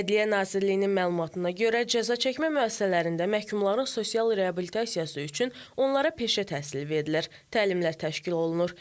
Ədliyyə Nazirliyinin məlumatına görə, cəzaçəkmə müəssisələrində məhkumların sosial reabilitasiyası üçün onlara peşə təhsili verilir, təlimlər təşkil olunur.